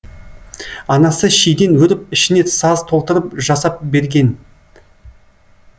анасы шиден өріп ішіне саз толтырып жасап берген